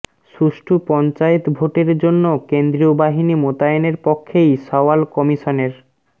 সুষ্ঠু পঞ্চায়েত ভোটের জন্য কেন্দ্রীয় বাহিনী মোতায়েনের পক্ষেই সওয়াল কমিশনের